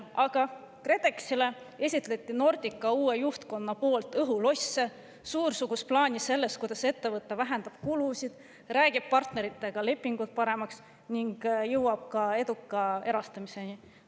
Aga KredExile esitles Nordica uus juhtkond õhulosse: suursugust plaani sellest, kuidas ettevõte vähendab kulusid, räägib partneritega lepingud paremaks ning jõuab eduka erastamiseni.